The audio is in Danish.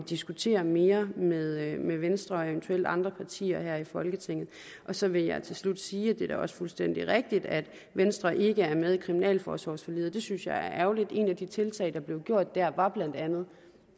diskutere mere med venstre og eventuelt andre partier her i folketinget så vil jeg til slut sige at det da også er fuldstændig rigtigt at venstre ikke er med i kriminalforsorgsforliget og det synes jeg er ærgerligt et af de tiltag der blev gjort der var blandt andet